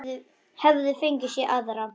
Hefði fengið sér aðra.